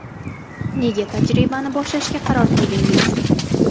Nega tajribani boshlashga qaror qildingiz?